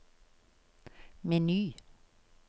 meny